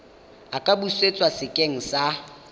a ka busetswa sekeng sa